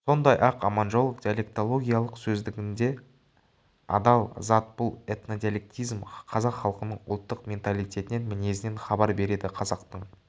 сондай-ақ аманжолов диалектологиялық сөздігінде адал зат бұл этнодиалектизм қазақ халқының ұлттық менталиетінен мінезінен хабар береді қазақтың